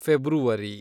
February